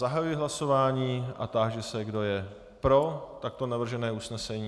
Zahajuji hlasování a táži se, kdo je pro takto navržené usnesení.